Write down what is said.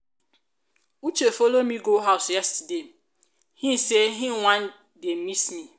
uche follow me go house yesterday in say in wan dey miss me.